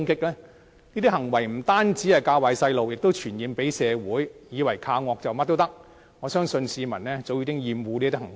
這些行為不單"教壞"小朋友，亦會傳染社會，以為恃着兇惡，便可以做任何事，我相信市民早已厭惡這些行為。